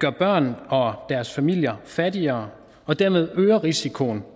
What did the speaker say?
gør børn og deres familier fattigere og dermed øger risikoen